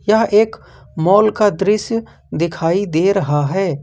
यह एक मॉल का दृश्य दिखाई दे रहा है।